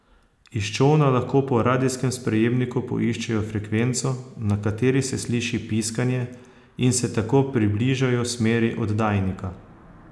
Iz čolna lahko po radijskem sprejemniku poiščejo frekvenco, na kateri se sliši piskanje, in se tako približajo smeri oddajnika.